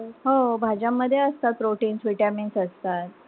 हो भाज्यांमध्ये असतात proteins vitaminns असतात.